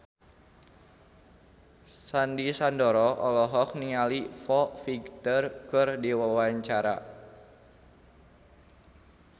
Sandy Sandoro olohok ningali Foo Fighter keur diwawancara